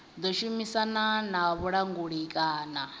ḓo shumisana na vhulanguli kana